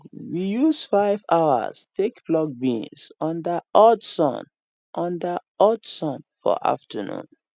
we use 5 hours take pluck beans under hot sun under hot sun for afternoon